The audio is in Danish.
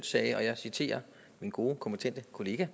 sagde og jeg citerer min gode kompetente kollega